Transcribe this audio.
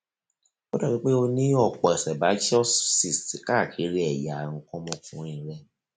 ó dàbíi pé o ní ọpọ sebaceous cysts káàkiri ẹyà nǹkan ọmọkùnrin rẹ